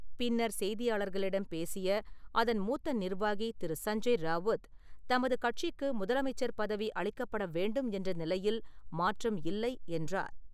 பின்னர் செய்தியாளர்களிடம் பேசிய அதன் மூத்த நிர்வாகி திரு. சஞ்ஜை ராவுத், தமது கட்சிக்கு முதலமைச்சர் பதவி அளிக்கப்பட வேண்டும் என்ற நிலையில் மாற்றம் இல்லை என்றார்.